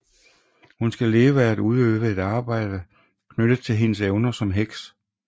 Hun skal leve af at udøve et arbejde knyttet til hendes evner som heks